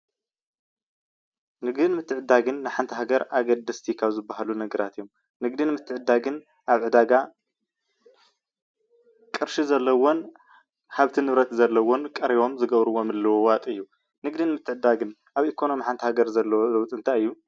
ንግድን ምትዕድዳግን ንሓንቲ ሃገር ኣብ ኣገደስቲ ካብ ዝባሃሉ ነጋራት እዮም፡፡ ንግድን ምትዕድዳግን ኣብ ዕዳጋ ቅርሺ ዘለዎን ሃፍቲ ንብረት ዘለዎን ቀሪቦም ዝገብርዎ ምልውዋጥ እዩ፡፡ ንግድን ምትዕድዳግን ኣብ ኢኮኖሚ ሓንቲ ሃገር ዘለዎ ለውጢ እንታይ እዩ?